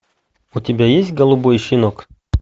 у тебя есть голубой щенок